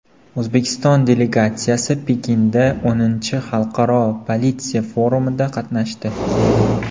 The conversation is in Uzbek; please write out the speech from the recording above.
O‘zbekiston delegatsiyasi Pekinda X Xalqaro politsiya forumida qatnashdi.